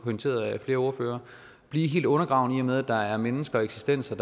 pointeret af flere ordførere blive helt undergravende i og med at der er mennesker eksistenser